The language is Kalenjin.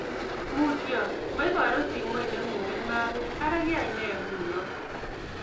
mutyo moiburu simoitnengunge mapit ara kiyainee nguno?